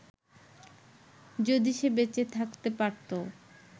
যদি সে বেঁচে থাকতে পারতো